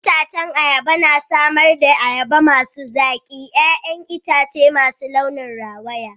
Itacen ayaba na samar da ayaba masu zaki, 'ya'yan itace masu launin rawaya.